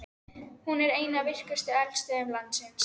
Hún er ein af virkustu eldstöðvum landsins.